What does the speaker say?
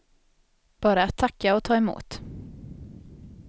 Bara att tacka och ta emot.